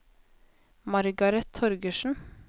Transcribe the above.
Margaret Torgersen